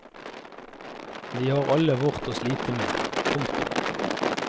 Vi har alle vårt å slite med. punktum